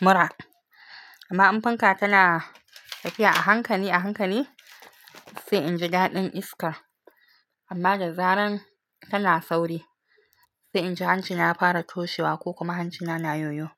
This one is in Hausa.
mura, amma in fanka tana tafiya a hankali a hankali sai inji dadin iska amma da zaran tana sauri sai inji hancina ya fara toshewa ko kuma hancina na yoyo.